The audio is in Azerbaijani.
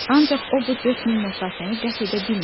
Ancaq o bu dörd mil məsafəni qət edə bilməyəcək.